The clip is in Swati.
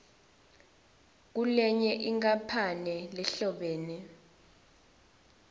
kulenye inkampani lehlobene